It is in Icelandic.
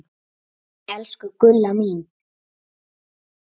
Elsku Gulla mín.